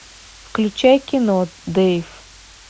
включай кино дейв